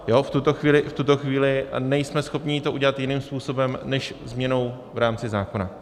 V tuto chvíli nejsme schopni to udělat jiným způsobem než změnou v rámci zákona.